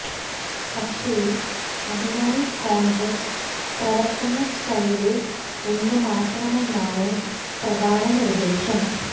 പക്ഷേ അതിനായി കോണ്ഗ്രസ് പ്രവര്ത്തന സ്റ്റൈല് ഒന്ന് മാറ്റണമെന്നാണ് പ്രധാന നിര്ദേശം